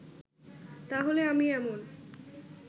তাহলে আমি এমন